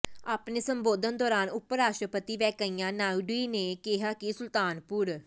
ਆਪਣੇ ਸੰਬੋਧਨ ਦੌਰਾਨ ਉਪ ਰਾਸ਼ਟਰਪਤੀ ਵੈਂਕਾਇਆ ਨਾਇਡੂ ਨੇ ਕਿਹਾ ਕਿ ਸੁਲਤਾਨਪੁਰ